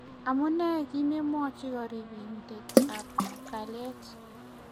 amune kimemwochi karibinet ab kalyet